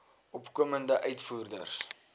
opkomende uitvoerders